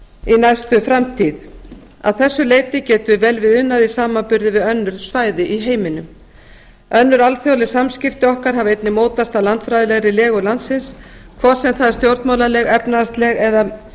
í næstu framtíð að þessu leyti getum við vel við unað í samanburði við önnur svæði í heiminum önnur alþjóðleg samskipti okkar hafa einnig mótast af landfræðilegri legu landsins hvort sem það er stjórnmálaleg efnahagsleg eða